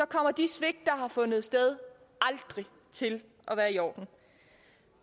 kommer de svigt der har fundet sted aldrig til at være i orden